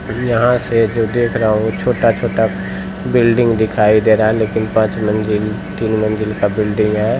यहाँ से जो देख रहा हुं छोटा - छोटा बिल्डिंग दिखाई दे रहा है लेकिन पांच मंजिल तीन मंजिल का बिल्डिंग है।